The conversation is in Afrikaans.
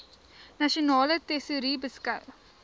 nasionale tesourie beskou